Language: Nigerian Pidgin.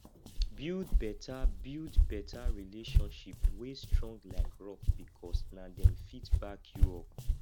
build beta build beta relationship wey strong like rock bikos na dem fit back yu up